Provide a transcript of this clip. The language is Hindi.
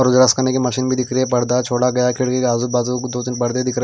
करने की मशीन में दिख रही है पर्दा छोड़ा गया खिड़की के आजू बाजू दो तीन पर्दे दिख रहे --